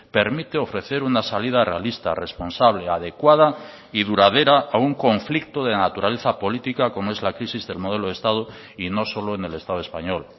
permite ofrecer una salida realista responsable adecuada y duradera a un conflicto de naturaleza política como es la crisis del modelo de estado y no solo en el estado español